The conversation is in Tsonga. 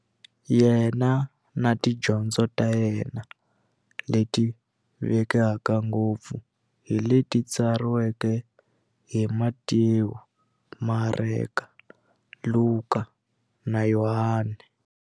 Yena na tidyondzo ta yena, leti tivekaka ngopfu hi leti tsariweke hi-Matewu, Mareka, Luka, na Yohani.